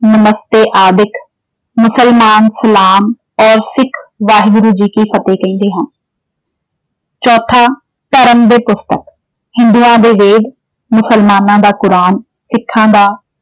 ਨਮਸਤੇ ਆਦਿਕ, ਮੁਸਲਮਾਨ ਸਲਾਮ ਔਰ ਸਿੱਖ ਵਾਹਿਗੂਰੂ ਜੀ ਕੀ ਫ਼ਤਿਹ ਕਹਿੰਦੇ ਹਨ। ਚੌਥਾ ਧਰਮ ਦੇ ਪੁਸਤਕ ਹਿੰਦੂਆਂ ਦੇ ਵੇਦ, ਮੁਸਲਮਾਨਾਂ ਦਾ ਕੁਰਾਨ ਸਿੱਖਾਂ ਦਾ